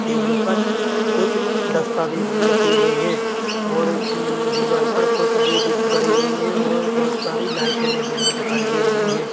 टेबलों पर कुछ दस्तावेज भी रखे हुए हैं और दीवार पर कुछ बोर्ड गड़े हुई है और बहोत सारे लाइटें लगी हुई दिखाई दे रही है।